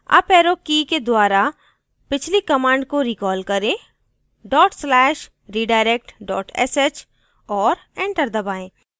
uparrow की के द्वारा पिछली command को रिक़ॉल करें dot slash redirect sh और enter दबाएँ